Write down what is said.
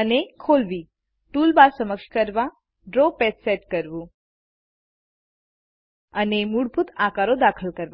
અને ખોલવી ટુલબાર સક્ષમ કરવાડ્રો પેજ સેટ કરવું અને મૂળભૂત આકારો દાખલ કરવા